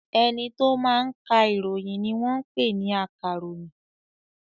Ẹni tó máa ka ìròyìn ni wọ́n ń pè ní akàròyìn.